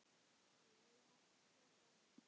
Við eigum alltaf hvort annað.